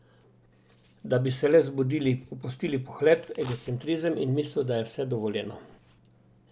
Da bi se le zbudili, opustili pohlep, egocentrizem in misel, da je vse dovoljeno.